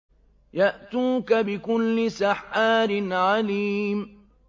يَأْتُوكَ بِكُلِّ سَحَّارٍ عَلِيمٍ